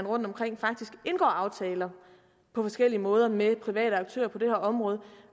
rundtomkring faktisk indgås aftaler på forskellige måder med private aktører på det her område